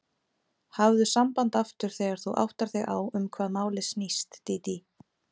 Hafðu samband aftur þegar þú áttar þig á um hvað málið snýst, Dídí.